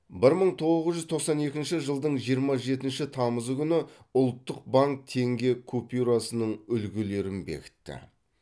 бір мың тоғыз жүз тоқсан екінші жылдың жиырма жетінші тамызы күні ұлттық банк теңге купюрасының үлгілерін бекітті